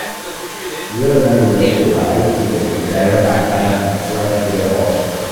Yau na lura cewa aiki daga gida yana ba ni nutsuwa fiye da ofis.